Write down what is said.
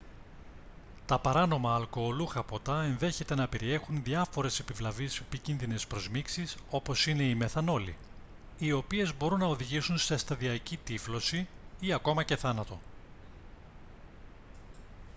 τα παράνομα αλκοολούχα ποτά ενδέχεται να περιέχουν διάφορες επιβλαβείς επικίνδυνες προσμίξεις όπως είναι η μεθανόλη οι οποίες μπορούν να οδηγήσουν σε σταδιακκή τύφλωση ή ακόμα και θάνατο